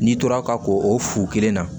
N'i tora ka ko o fu kelen na